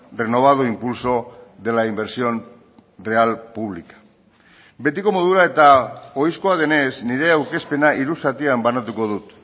renovado impulso de la inversión real pública betiko modura eta ohizkoa denez nire aurkezpena hiru zatian banatuko dut